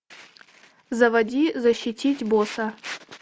заводи защитить босса